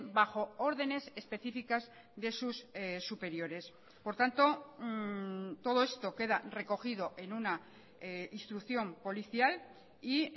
bajo órdenes específicas de sus superiores por tanto todo esto queda recogido en una instrucción policial y